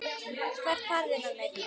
Hvert farið þið með mig?